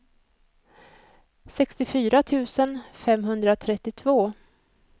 sextiofyra tusen femhundratrettiotvå